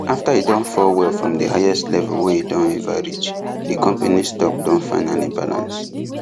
after e don fall well from the highest level wey e don ever reach the company stock don finally balance